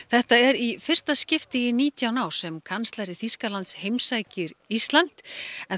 þetta er í fyrsta skipti í nítján ár sem kanslari Þýskalands heimsækir Ísland en